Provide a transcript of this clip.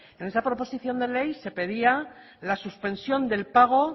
en esa proposición de ley se pedía la suspensión del pago